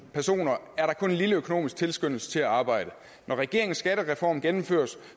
personer er en lille økonomisk tilskyndelse til at arbejde når regeringens skattereform gennemføres